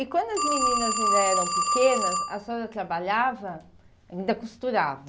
E quando as meninas ainda eram pequenas, a senhora trabalhava, ainda costurava?